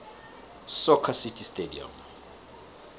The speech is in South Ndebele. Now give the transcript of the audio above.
soccer city stadium